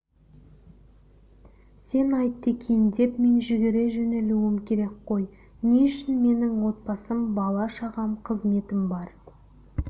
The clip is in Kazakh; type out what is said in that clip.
сен айтты екен деп мен жүгіре жөнелуім керек қой не үшін менің отбасым бала-шағам қызметім бар